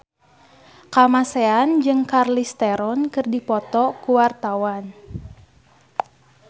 Kamasean jeung Charlize Theron keur dipoto ku wartawan